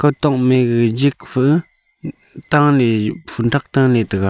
kutok me gaga jikfa t-taley phun thak taley taiga.